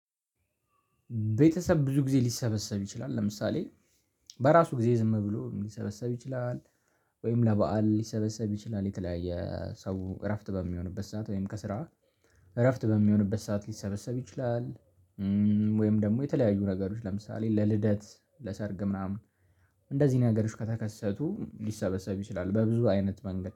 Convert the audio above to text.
ቤተሰብ ብዙ ጊዜ ሊሰበሰብ ይችላል ለምሳሌ በራሱ ጊዜ ዝም ብሎ ሊሰበሰብ ይችላል። ወይም ለበአል ሊሰበሰብ ይችላል የተለያየ ሰው እረፍት በሚሆንበት ሰዓት ወይም ከስራ እረፍት በሚሆንበት ሰዓት ሊሰበሰብ ይችላል። ወይም ደግሞ የተለያዩ ነገሮች ለምሳሌ ለልደት ለሰርግ ምናምን እንደዚህ ነገሮች ከተከሰቱ ሊሰበሰብ ይችላል። በብዙ አይነት መንገድ